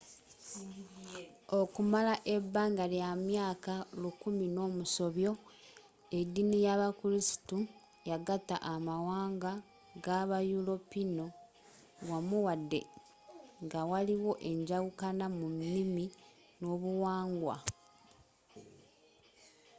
okumala ebanga ly'amyaka lukumi nomusobyo ediini yabakristu yagata amawanga gabayuropiinu wammu wadde nga waliwo enjawukana mu nimi n'obuwangwa